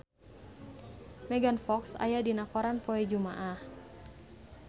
Megan Fox aya dina koran poe Jumaah